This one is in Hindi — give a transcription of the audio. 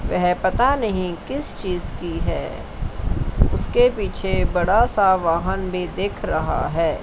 वह पता नहीं किस चीज की है उसके पीछे बड़ा सा वाहन भी दिख रहा है।